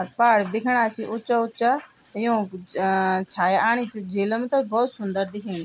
अर पहाड दिखेणा छिन उच्चा उच्चा यौंक छाया आणी च झीलम त भौत सुन्दर दिखेणि।